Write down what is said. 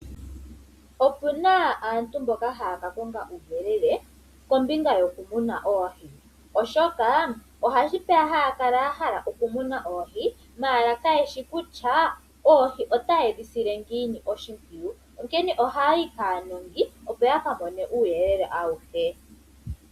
Oku na aantu mboka haya kakonga uuyelele kombinga yokumuna oohi. Oshoka otashi vulika haya kala ya hala oku muna oohi ihe kayeshi kutya oohi otaye dhi sile ngiini oshimpwiyu. Onkene ohaya yi kaanongo opo yakamone uuyelele awuhe.